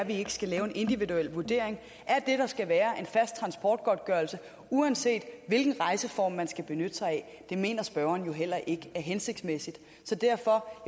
ikke skal lave en individuel vurdering er det at der skal være en fast transportgodtgørelse uanset hvilken rejseform man skal benytte sig af det mener spørgeren jo heller ikke er hensigtsmæssigt så derfor